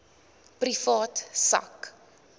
privaat sak